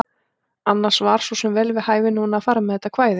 Annars var svo sem vel við hæfi núna að fara með þetta kvæði.